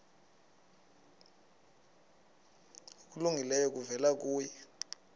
okulungileyo kuvela kuye